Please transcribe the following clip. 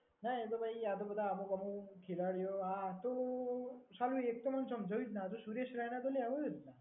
ના એ તો કઈ આપડે બધા અમુક અમુક ખિલાડીઓ આ હતું. સાલું એક તો મને સમજાયું જ ના. જો સુરેશ રાયના તો લેવો જોઈએ ને.